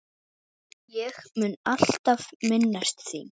Ég mun alltaf minnast þín.